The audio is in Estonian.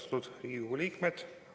Austatud Riigikogu liikmed!